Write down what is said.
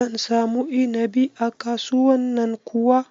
Zan samu inabi a kasuwan nan kuwa?